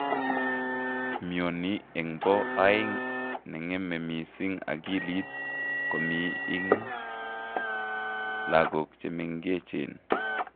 Mioni enbo aeng, ne ngeme mising akilit, komi ing lagok che mengechen.